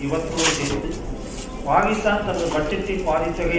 இவற்றோடு சேர்த்து பாகிஸ்தான் தனது பட்ஜெட்டில் பாதித்தொகையை